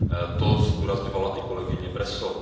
To zdůrazňovala i kolegyně Breso.